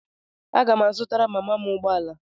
Aga m azụtara mama m ụgbọ ala.